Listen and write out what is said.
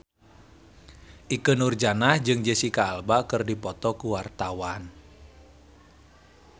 Ikke Nurjanah jeung Jesicca Alba keur dipoto ku wartawan